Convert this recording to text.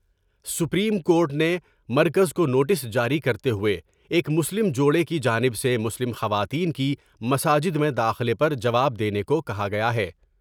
Supreme court نے مرکز کونوٹس جاری کرتے ہوۓ ایک مسلم جوڑے کی جانب سے مسلم خواتین کی مساجد میں داخلے پر جواب دینے کو کہا گیا ہے ۔